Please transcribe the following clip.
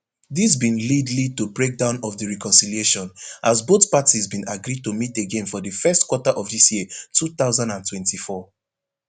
dis bin lead lead to breakdown of di reconciliation as both parties bin agree to meet again for di first quarter of dis year two thousand and twenty-four